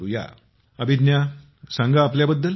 मोदी जीः अभिज्ञा सांगा आपल्याबद्दल